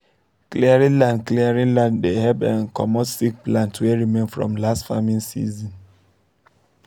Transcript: clearing land clearing land dey help um comot sick plants wey remain from last farming season